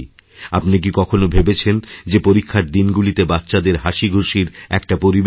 আপনি কি কখনও ভেবেছেন যে পরীক্ষার দিনগুলিতে বাচ্চাদের হাসিখুশির একটাপরিবেশ দিই